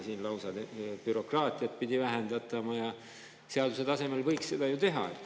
Siingi pidi bürokraatiat vähendatama ja seaduse tasemel võiks seda ju teha.